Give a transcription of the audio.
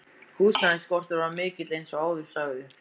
Húsnæðisskortur var mikill eins og áður sagði.